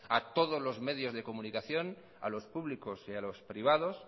a todos los medios de comunicación a los públicos y a los privados